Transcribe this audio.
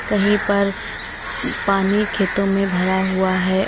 कहीं पर पानी खेतों में भरा हुआ है।